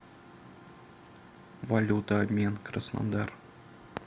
валюта обмен краснодар